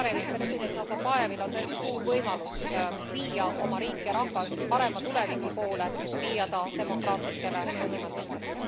President Nazarbajevil on tõesti suur võimalus viia oma riik ja rahvas parema tuleviku poole, viia ta demokraatlikele põhimõtetele.